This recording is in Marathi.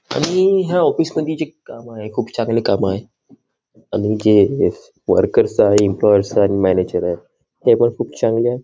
आणि हे ह्या ऑफिस जे मधल काम आहे. खुप चांगल काम आहे. आणि जे वोर्केर आहेत. एम्पलॉय आणि मॅनेजर आहेत. ते पण खुप चांगल--